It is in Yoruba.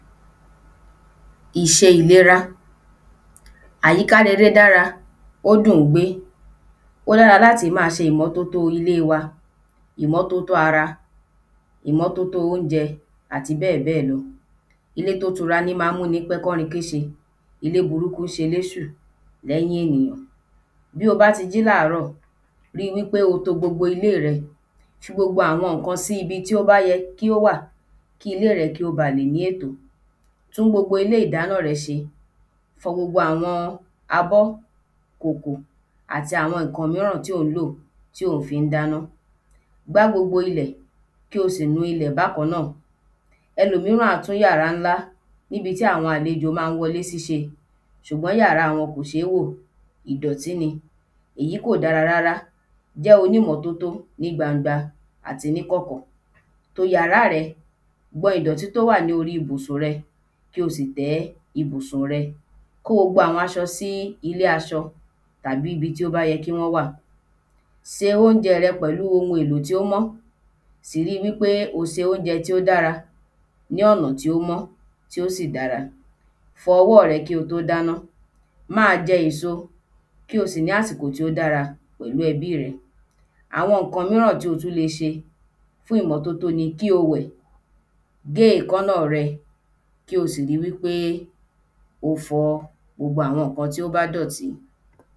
Ìṣẹ ìlera Àyíká rere dára Ó dùn-ún gbé Ó dára l’áti ma ṣe ìmọ́tótó ilé wa ìmọ́tótó ara, ìmọ́tótó óunjẹ àti bẹ́ẹ̀ bẹ́ẹ̀ lọ Ilé t’ó tura ní má ń mú ní pẹ́ kọ́rin kéṣe Ilé burúkú ṣe l’éṣù l’ẹ́yìn ènìyàn Bí o bá ti jí l’áàárọ̀, rí i wí pé o to gbogbo ilé rẹ Fi gbogbo àwọn ǹkan sí bi tí ó bá yẹ kí ó wà Kí ilé rẹ kí ó ba lè ní ètò Tún gbogbo ilé ìdáná rẹ ṣe. Fọ gbogbo àwọn abọ́, kòkò àti àwọn ǹkan míràn tí ò ń lò tí ò fí ń dáná Gbá gbogbo ilẹ̀ kí o sì nu ilẹ̀ bákan náà Ẹlòmíràn á tún yàrá ńlá n’íbi tí àwọn àlejọ má ń wọ 'lé sí sẹ ṣùgbọ́n yàrá wọn kò ṣé wó ìdọ̀tí ni Èyí kò dára rárá Jẹ́ onímọ́tótó ní gbangba. àti ní kọ̀kọ̀ To yàrá rẹ Gbọn idọ̀tí t’ó wà ní orí ibùsùn rẹ. kí o sì tẹ́ ibùsùn rẹ. Kó gbogbo àwọn aṣọ sí ilé aṣọ tàbí ibi tí ó yẹ kí wọ́n wà se óunjẹ rẹ pẹ̀lú ohun èlò t’ó mọ́ Sì ri wí pé o se óunjẹ tí ó dára. ní ọ̀nà tí ó mọ́ tí ó sì dára. Fọ owó rẹ kí o tó dáná Ma jẹ ẹ̀so Kí o sì ní àsìkò tí ó dára pẹ̀lú ẹbí rẹ Àwọn ǹkan míràn tí o tú le ṣe fún ìmọ́tótó ni kí o wẹ̀. Ré èkáná rẹ. Kí o sì ri wí pé o fọ gbogbo àwọn ǹkan tí ó bá dọ̀tí